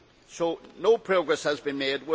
So no progress has been made.